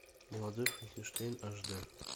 молодой франкенштейн аш дэ